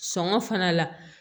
Sɔngɔ fana la